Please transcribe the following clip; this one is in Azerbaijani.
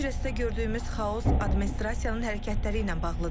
Los Ancelesdə gördüyümüz xaos administrasiyanın hərəkətləri ilə bağlıdır.